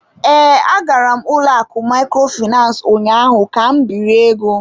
Ee, agara m ụlọ akụ Microfinance ụnyaahụ ka m biri ego.